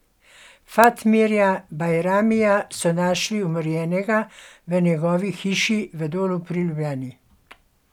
Fatmirja Bajramija so našli umorjenega v njegovi hiši v Dolu pri Ljubljani.